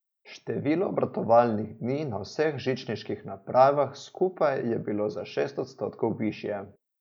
Število obratovalnih dni na vseh žičniških napravah skupaj je bilo za šest odstotkov višje.